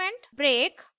break